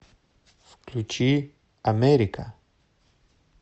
включи америка